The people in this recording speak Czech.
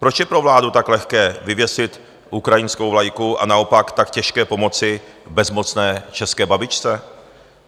Proč je pro vládu tak lehké vyvěsit ukrajinskou vlajku a naopak tak těžké pomoci bezmocné české babičce?